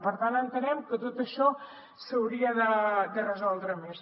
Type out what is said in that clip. per tant entenem que tot això s’hauria de resoldre més